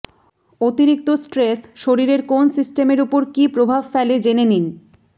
অতিরিক্ত স্ট্রেস শরীরের কোন সিস্টেমের উপর কী প্রভাব ফেলে জেনে নিন